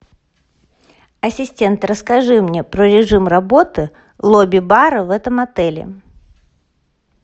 ассистент расскажи мне про режим работы лобби бара в этом отеле